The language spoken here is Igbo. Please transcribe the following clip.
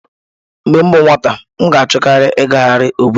Mgbe m bụ nwata, m na-achọkarị ịgagharị obodo.